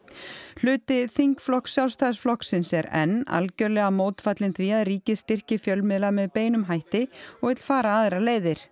hluti þingflokks Sjálfstæðisflokksins er enn algjörlega mótfallinn því að ríkið styrki fjölmiðla með beinum hætti og vill fara aðrar leiðir